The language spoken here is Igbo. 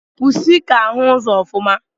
Pusi ka ahu ụzọ ofuma.